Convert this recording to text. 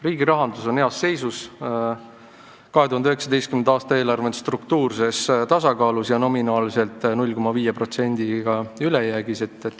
Riigi rahandus on heas seisus: 2019. aasta eelarve on struktuurses tasakaalus ja nominaalselt 0,5%-ga ülejäägis.